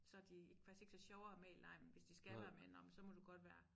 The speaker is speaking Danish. Så de faktisk ikke så sjove at have med i legen men hvis de skal være med nå men så må du godt være